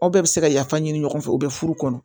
Aw bɛɛ bɛ se ka yafa ɲini ɲɔgɔn fɛ u bɛ furu kɔnɔ